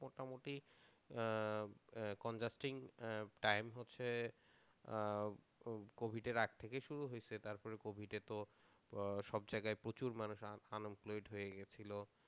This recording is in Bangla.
মোটামুটি time হচ্ছে covid আগের থেকে শুরু হয়েছে ল তারপরে covid তো সব জায়গায় প্রচুর মানুষ আন এমপ্লয়েড হয়ে গেছিল